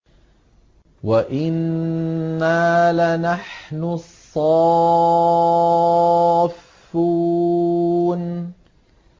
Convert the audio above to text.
وَإِنَّا لَنَحْنُ الصَّافُّونَ